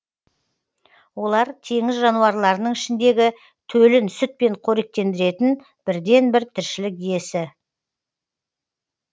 олар теңіз жануарларының ішіндегі төлін сүтпен қоректендіретін бірден бір тіршілік иесі